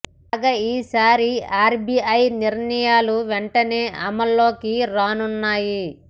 కాగా ఈ సారి ఆర్బిఐ నిర్ణయాలు వెంటనే అమలులోకి రానున్నాయి